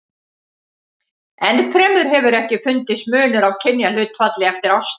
Enn fremur hefur ekki fundist munur á kynjahlutfalli eftir árstíðum.